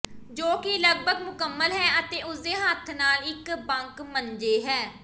ਜੋ ਕਿ ਲਗਭਗ ਮੁਕੰਮਲ ਹੈ ਅਤੇ ਉਸ ਦੇ ਹੱਥ ਨਾਲ ਇੱਕ ਬੰਕ ਮੰਜੇ ਹੈ